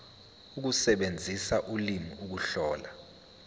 ukusebenzisa ulimi ukuhlola